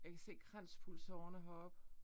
Jeg kan se kranspulsårerne heroppe